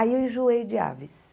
Aí eu enjoei de aves.